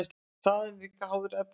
Hraðinn er líka háður efnisgerðinni.